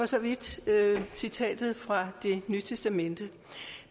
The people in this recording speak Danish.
så vidt citatet fra det nye testamente